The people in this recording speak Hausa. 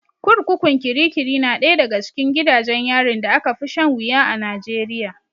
Kurkukun kirkiri na ɗaya daga cikin gidajen yarin da aka fi shan wuya a Najeriya.